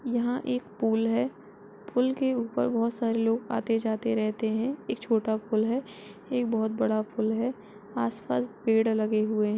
यहाँ एक पूल है पुल के ऊपर बहुत सारे लोग आते जाते रहते हैं एक छोटा पुल है एक बहुत बड़ा पुल है आसपास पेड़ लगे हुए हैं।